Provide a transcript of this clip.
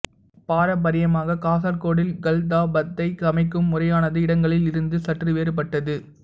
பாரம்பரியமாக காசர்கோடில் கல்தாப்பத்தை சமைக்கும் முறையானது இடங்களில் இருந்து சற்று வேறுபட்டது